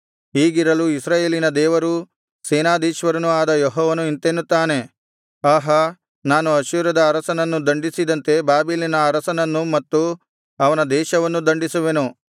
ಹೀಗಿರಲು ಇಸ್ರಾಯೇಲಿನ ದೇವರೂ ಸೇನಾಧೀಶ್ವರನೂ ಆದ ಯೆಹೋವನು ಇಂತೆನ್ನುತ್ತಾನೆ ಆಹಾ ನಾನು ಅಶ್ಶೂರದ ಅರಸನನ್ನು ದಂಡಿಸಿದಂತೆ ಬಾಬೆಲಿನ ಅರಸನನ್ನೂ ಮತ್ತು ಅವನ ದೇಶವನ್ನೂ ದಂಡಿಸುವೆನು